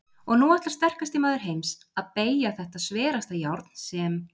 Og nú ætlar sterkasti maður heims að BEYGJA ÞETTA SVERASTA JÁRN SEM